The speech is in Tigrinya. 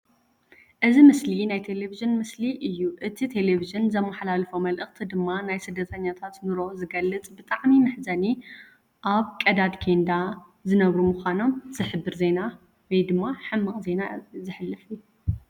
እዚ ምስሊ ናይ ቴለቪዥን ምስሊ እዩ። እቲ ቴለቪዥን ዘመሓላልፎ መልእኽቲ ድማ ናይ ስደተኛታት ንሮ ዝገልጽ ብጣዕሚ መሕዘኒ ኣብ ቀዳድ ኬንዳ ዝነብሩ ምኻኖም ዝሕብር ዜና (ሕማቕ ዜና) ዘሕልፍ